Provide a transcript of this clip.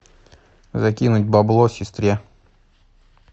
закинуть бабло сестре